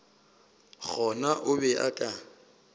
gona o be a ka